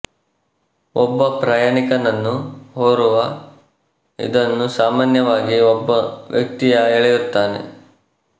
ಒಬ್ಬ ಪ್ರಯಾಣಿಕನನ್ನು ಹೊರುವ ಇದನ್ನು ಸಾಮಾನ್ಯವಾಗಿ ಒಬ್ಬ ವ್ಯಕ್ತಿಯು ಎಳೆಯುತ್ತಾನೆ